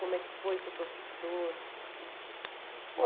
Como é que foi ser professor?